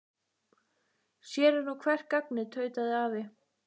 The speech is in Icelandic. Sér er nú hvert gagnið tautaði afi.